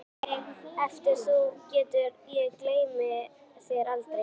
Mundu mig ef þú getur, ég gleymi þér aldrei